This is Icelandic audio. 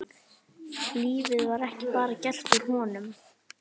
Lífið var bara ekki gert úr honum.